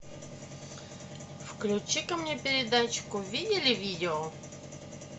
включи ка мне передачку видели видео